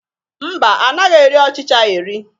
Mba, anaghị eri ọchịchị eri